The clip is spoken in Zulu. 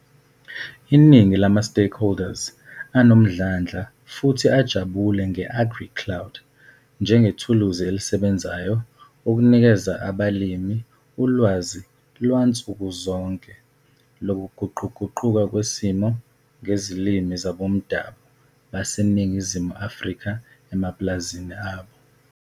Iningi lama-stakeholders anomdlandla futhi ajabule nge-AgriCloud njengethuluzi elisebenzayo ukunikeza abalimi ulwazi lwansukuzonke lokuguquguquka kwesimo ngezilimi zabomdabu baseNingizimu Afrika emapulazini abo.